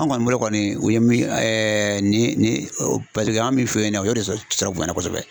Anw kɔni bolo kɔni u ye min nin paseke anw bi fe yen nɔ o de tɔɔrɔ bonyana kosɛbɛ.